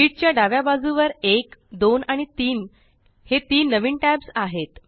sheet च्या डाव्या बाजुवर 1 2 आणि 3 हे तीन नवीन टॅब्स आहेत